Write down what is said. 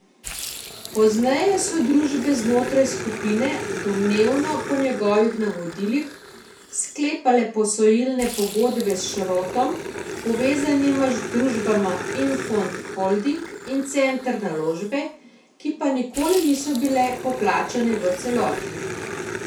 Pozneje so družbe znotraj skupine, domnevno po njegovih navodilih, sklepale posojilne pogodbe s Šrotom povezanima družbama Infond Holding in Center Naložbe, ki pa nikoli niso bile poplačane v celoti.